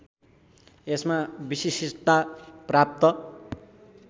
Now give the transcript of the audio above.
यसमा विशिष्टता प्राप्त